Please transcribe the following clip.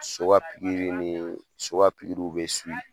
So ka pikiri nii so ka pikiriw be